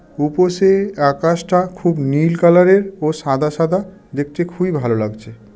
উপসে আকাশটা খুব নীল কালারের ও সাদা সাদা দেখতে খুবই ভালো লাগছে.